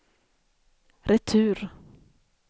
retur